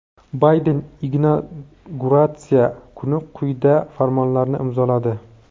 Bayden inauguratsiya kuni quyidagi farmonlarni imzoladi:.